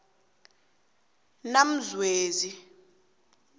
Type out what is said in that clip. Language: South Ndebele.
namzwezi